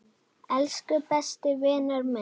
Elsku besti vinur minn.